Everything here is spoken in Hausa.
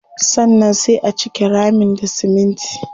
Sannan sai a cike ramin da siminti.